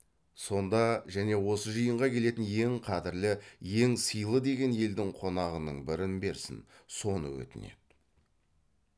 сонда және осы жиынға келетін ең қадірлі ең сыйлы деген елдің қонағының бірін берсін соны өтінеді